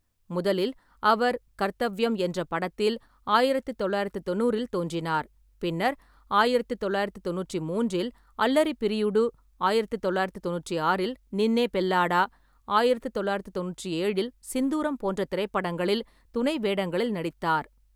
முதலில் அவர் கர்த்தவ்யம் என்ற படத்தில் ஆயிரத்து தொள்ளாயிரத்து தொண்ணூறில் தோன்றினார். பின்னர், ஆயிரத்து தொள்ளாயிரத்து தொண்ணூற்றி மூன்றில் அல்லரி பிரியுடு, ஆயிரத்து தொள்ளாயிரத்து தொண்ணூற்றி ஆறில் நின்னே பெல்லாடா, ஆயிரத்து தொள்ளாயிரத்து தொண்ணூற்றி ஏழில் சிந்தூரம் போன்ற திரைப்படங்களில் துணை வேடங்களில் நடித்தார்.